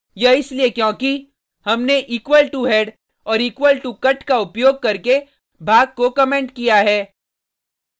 यह इसलिए क्योंकि हमने equal to head और equal to cut का उपयोग करके भाग को कमेंट किया है